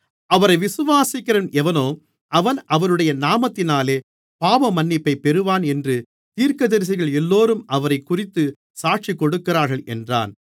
அவரை விசுவாசிக்கிறவன் எவனோ அவன் அவருடைய நாமத்தினாலே பாவமன்னிப்பைப் பெறுவான் என்று தீர்க்கதரிசிகள் எல்லோரும் அவரைக்குறித்தே சாட்சிகொடுக்கிறார்கள் என்றான்